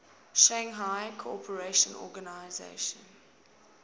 shanghai cooperation organization